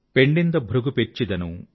పెణ్ణింద భృగు పెర్చిదను